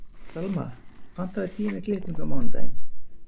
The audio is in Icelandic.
Selma, pantaðu tíma í klippingu á mánudaginn.